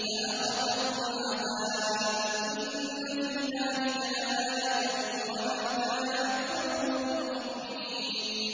فَأَخَذَهُمُ الْعَذَابُ ۗ إِنَّ فِي ذَٰلِكَ لَآيَةً ۖ وَمَا كَانَ أَكْثَرُهُم مُّؤْمِنِينَ